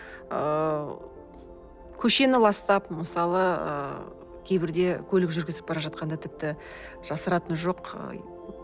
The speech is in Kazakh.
ыыы көшені ластап мысалы ы кейбірде көлік жүргізіп бара жатқанда тіпті жасыратыны жоқ